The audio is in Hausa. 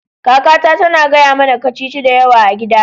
Kakata tana gaya mana kacici da yawa a gida